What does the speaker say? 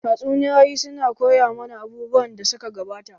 Tatsuniyoyi su na koya mana abubuwan da suka gabata.